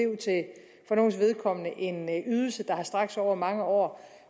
for nogles vedkommende en ydelse der har strakt sig over mange år